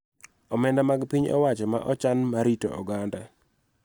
Omenda mag piny owacho ma ochan mar rito oganda.